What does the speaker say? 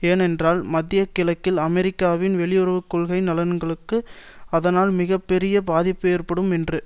ஏனென்றால் மத்திய கிழக்கில் அமெரிக்காவின் வெளியுறவு கொள்கை நலன்களுக்கு அதனால் மிக பெரிய பாதிப்பு ஏற்படும் என்று